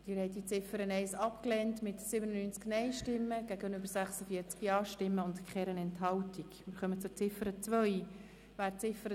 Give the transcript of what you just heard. Sie haben auch Ziffer 2 mit 85 Nein- gegen 58 Ja-Stimmen bei 0 Enthaltungen abgelehnt.